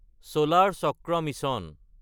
চলাৰ চাক্ৰা মিছন